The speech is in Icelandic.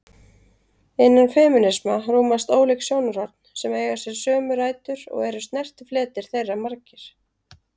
Innan femínisma rúmast ólík sjónarhorn sem eiga sér sömu rætur og eru snertifletir þeirra margir.